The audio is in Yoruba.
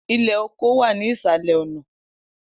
Ilẹ oko wa ni isalẹ ọna.